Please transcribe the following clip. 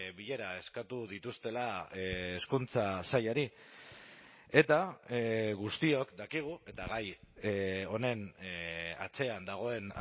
bilera eskatu dituztela hezkuntza sailari eta guztiok dakigu eta gai honen atzean dagoen